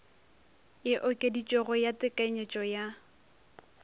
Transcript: e okeditšwego ya tekanyetšo ya